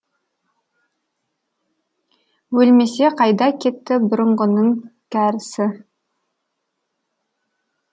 өлмесе қайда кетті бұрынғының кәрісі